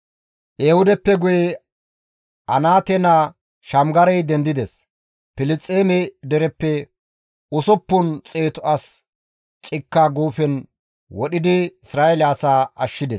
Ehuudeppe guye Anaate naa Shamgarey dendides; Filisxeeme dereppe usuppun xeetu as cikka guufen wodhidi Isra7eele asaa ashshides.